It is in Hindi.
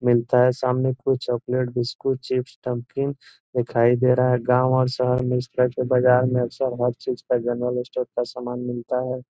मिलता है सामने कुछ चॉकलेट बिस्कुट चिप्स नमकीन दिखाई दे रहा हैं। गांव और शहर में छोटे बाजार में अक्सर हर चीज का जनरल स्टोर का सामान मिलता हैं।